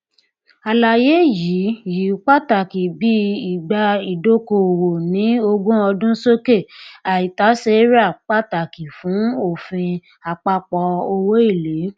àlàyé yìí yìí pàtàkì bí ìgbà ìdókòòwò ní ogún ọdún sókè àìtàséra pàtàkì fún òfin àpapọ owóèlé